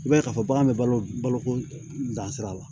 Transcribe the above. I b'a ye k'a fɔ bagan bɛ balo balo ko dan sira la